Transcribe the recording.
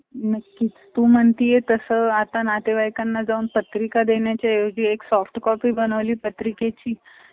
ताचा पैसा कमावून पैशाला पैसा लावून, त्याने आज स्वतःचा धीरु अंबानीचे मोठे इतके mechanical बिकीनिकल